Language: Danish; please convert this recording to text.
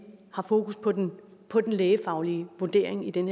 har fokus på den på den lægefaglige vurdering i den